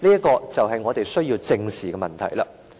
這便是我們需要正視的問題。